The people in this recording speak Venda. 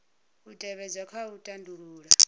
u tevhedzwa kha u tandulula